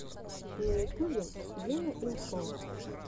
на ютубе гена имхо